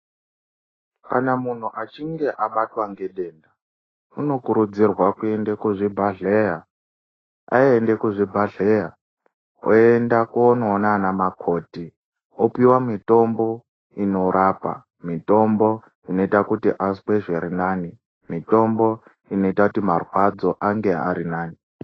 Kana munhu achinge abatwa ngedenda unokurudzirwa kuende kuzvi bhadhleya , aende kuzvibhadhleya oenda kunoona ana makoti opiwa mitombo inorapa mitombo inoita kuti azwe zvirinani mitombo inoita kuti marwadzo ange arinani